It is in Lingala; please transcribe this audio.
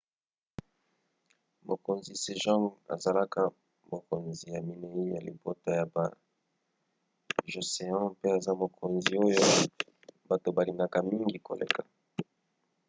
mokonzi sejong azalaka mokonzi ya minei ya libota ya ba joseon pe aza mokonzi oyo bato balingaka mingi koleka